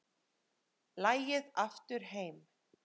Lagið Aftur heim